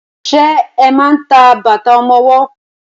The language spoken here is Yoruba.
Ṣe máa ń ta bàtà ọmọwọ́?